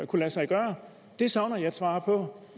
kunne lade sig gøre det savner jeg et svar på